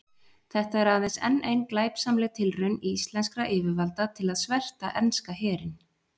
Þetta er aðeins enn ein glæpsamleg tilraun íslenskra yfirvalda til að sverta enska herinn.